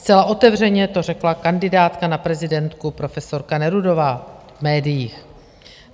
Zcela otevřeně to řekla kandidátka na prezidentku profesorka Nerudová v médiích.